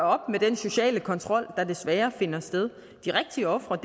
op med den sociale kontrol der desværre finder sted de rigtige ofre